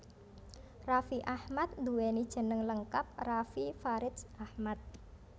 Raffi Ahmad nduwéni jeneng lengkap Raffi Faridz Ahmad